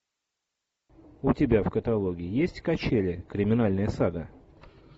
у тебя в каталоге есть качели криминальная сага